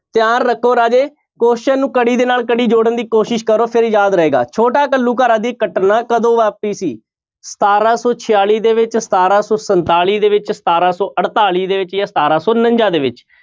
ਧਿਆਨ ਰੱਖੋ ਰਾਜੇ question ਨੂੰ ਕੜੀ ਦੇ ਨਾਲ ਕੜੀ ਜੋੜਨ ਦੀ ਕੋਸ਼ਿਸ਼ ਕਰੋ ਫਿਰ ਯਾਦ ਰਹੇਗਾ, ਛੋਟਾ ਘੱਲੂਘਾਰਾ ਦੀ ਘਟਨਾ ਕਦੋਂ ਵਾਪਰੀ ਸੀ ਸਤਾਰਾਂ ਸੌ ਛਿਆਲੀ ਦੇ ਵਿੱਚ, ਸਤਾਰਾਂ ਸੌ ਸੰਤਾਲੀ ਦੇ ਵਿੱਚ, ਸਤਾਰਾਂ ਸੌ ਅੜਤਾਲੀ ਦੇ ਵਿੱਚ ਜਾਂ ਸਤਾਰਾਂ ਸੌ ਉਣੰਜਾ ਦੇ ਵਿੱਚ।